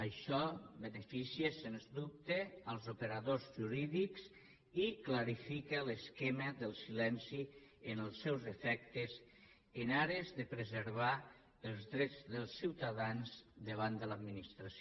això beneficia sens dubte els operadors jurídics i clarifica l’esquema del silenci en els seus efectes en ares de preservar els drets dels ciutadans davant de l’administració